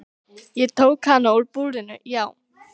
Ég tók hann úr búrinu, já.